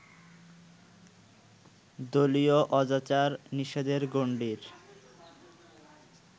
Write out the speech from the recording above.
দলীয় অজাচার-নিষেধের গণ্ডির